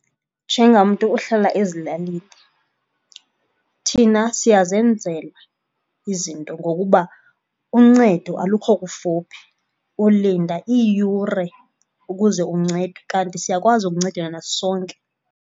Njengamntu ohlala ezilalini, thina siyazenzela izinto ngokuba uncedo alukho kufuphi. Ulinda iiyure ukuze uncedwe kanti siyakwazi ukuncedana sonke.